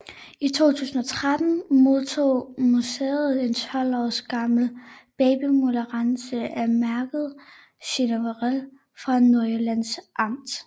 I 2013 modtog museet en 12 år gammel babyambulance af mærket Chevrolet fra Nordjyllands Amt